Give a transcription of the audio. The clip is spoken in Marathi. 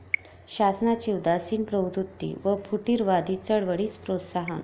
शासनाची उदासीन प्रवृत्ती व फुटीरवादी चळवळीस प्रोत्साहन